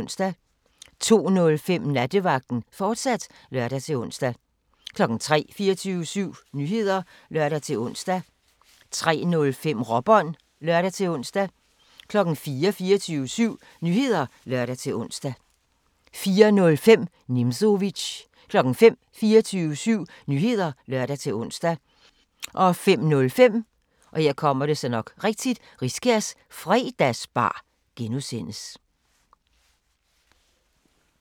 02:05: Nattevagten, fortsat (lør-ons) 03:00: 24syv Nyheder (lør-ons) 03:05: Råbånd (lør-ons) 04:00: 24syv Nyheder (lør-ons) 04:05: Nimzowitsch 05:00: 24syv Nyheder (lør-ons) 05:05: Riskærs Fredagsbar (G)